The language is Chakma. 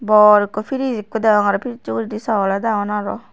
bor ikko firij ikko degong arow firijjo uguredi sogoles agon arow.